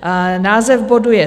Název bodu je